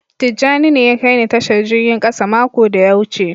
Tijani ne ya kai ni Tashar jirgin kasa mako da ya wuce.